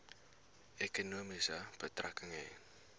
ekonomie betrekking hê